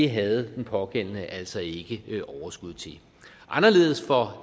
havde den pågældende altså ikke overskud til anderledes var